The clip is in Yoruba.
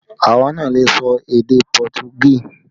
Àwa náà lè sọ èdè Pọtugí